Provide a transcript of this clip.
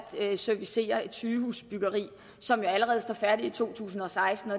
servicere et sygehusbyggeri som jo allerede står færdig i to tusind og seksten